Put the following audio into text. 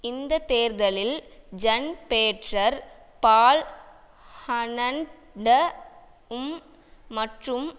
இந்த தேர்தலில் Jan Peter Balkenende உம் மற்றும்